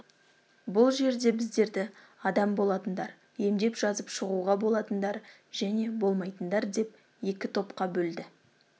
бұл жерде біздерді адам болатындар емдеп жазып шығуға болатындар және болмайтындар деп екі топқа бөлді